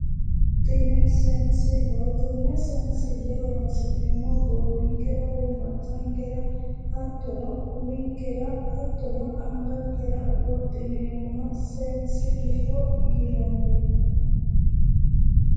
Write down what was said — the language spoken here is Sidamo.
Tini seensilleho konne seensille horoonsi'neemmohu goowinkera woyi maccankera hattono uminkera hattono angankera wodhineemmoha seensilleho yinanni